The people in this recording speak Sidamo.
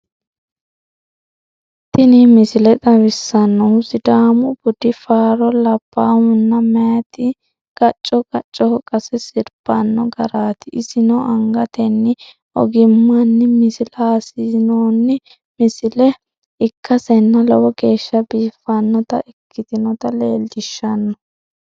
Tini misile xawissannohu Sidaamu Budi faaro labbaahunna meyaati gacco gaccoho qase sirbanno garaati. Isino angatenni ogimmanni misilsissinoonni misile ikkasenna lowo geeshsha biiffannota ikkitinota leellishshanno.